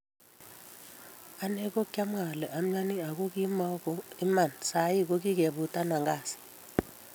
ane ko kiamwa ale amiani ak ko kimoko Iman sai ko kikefutana Kasi